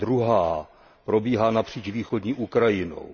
Ta druhá probíhá napříč východní Ukrajinou.